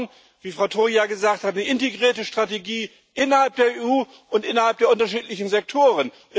Wir brauchen, wie Frau Toia gesagt hat, eine integrierte Strategie innerhalb der EU und innerhalb der unterschiedlichen Sektoren.